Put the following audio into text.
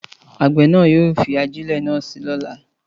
Àgbẹ̀ náà yóò fi ajẹ́lẹ̀ náà si lóla